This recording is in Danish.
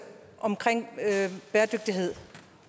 omkring bæredygtighed